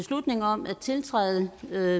byder